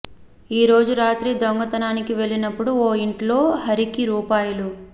ఓ రోజు రాత్రి దొంగతనానికి వెళ్లినప్పుడు ఓ ఇంట్లో హరికి రూ